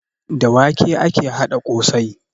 Da wake ake haɗa ƙosai